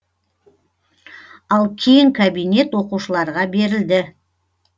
ал кең кабинет оқушыларға берілді